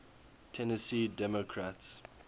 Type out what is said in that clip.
tennessee democrats